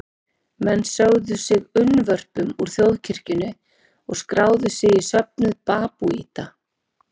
Menn sögðu sig unnvörpum úr þjóðkirkjunni og skráðu sig í söfnuð babúíta.